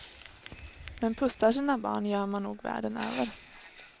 Men pussar sina barn gör man nog världen över.